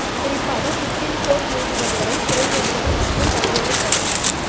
குறிப்பாக supreme court நீதிபதிகளை சிறை வைத்தது மற்றும் பல்வேறு சதி